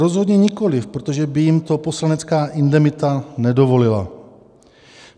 Rozhodně nikoliv, protože by jim to poslanecká indemita nedovolila.